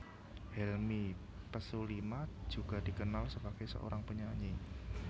Helmi Pesulima juga dikenal sebagai seorang penyanyi